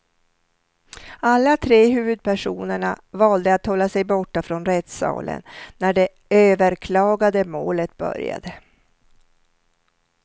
Alla tre huvudpersonerna valde att hålla sig borta från rättssalen när det överklagade målet började.